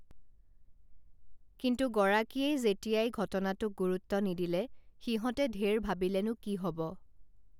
কিন্তু গৰাকীয়েই যেতিয়াই ঘটনাটোক গুৰুত্ব নিদিলে সিহঁতে ঢেৰ ভাৱিলেনো কি হব